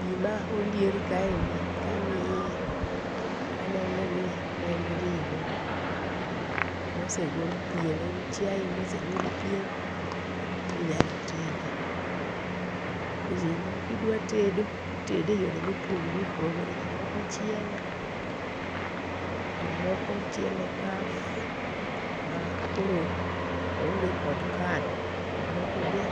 Gima olier kaeni kang'iye to aneno ni en ring'o mosegol pien. En chiaye mosegol pien minyalo tedi. Ring'o kidwa tedo itede eyore mopogore opogore. Jomoko chiele, jomoko chiele kaf makoro oonge kod kado jomoko be